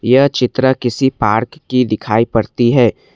यह चित्र किसी पार्क की दिखाई पड़ती है।